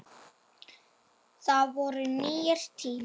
Það voru nýir tímar.